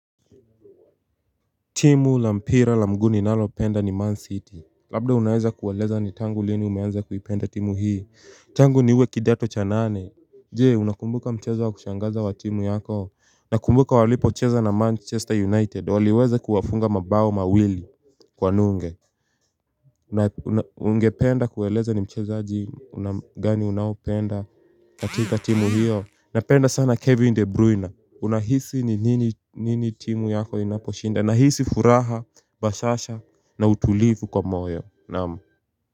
Timu la mpira la mguu ninalopenda ni Man City. Labda unaweza kueleza ni tangu lini umeanza kuipenda timu hii? Tangu niwe kidato cha nane. Je, unakumbuka mchezo wa kushangaza wa timu yako? Nakumbuka walipocheza na Manchester United waliweza kuwafunga mabao mawili kwa nunge Ungependa kueleza ni mchezaji una, gani unaopenda katika timu hiyo napenda sana Kevin De Bruyne. Unahisi ni nini timu yako inaposhinda? Nahisi furaha, bashasha na utulivu kwa moyo. Naam.